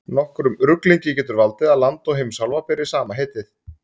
Nokkrum ruglingi getur valdið að land og heimsálfa beri sama heitið.